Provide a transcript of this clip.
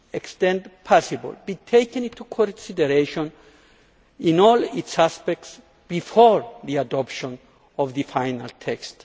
extent possible, be taken into consideration in all its aspects before the adoption of the final text.